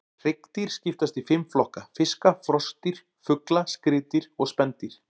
Hryggdýr skiptast í fimm flokka: fiska, froskdýr, fugla, skriðdýr og spendýr.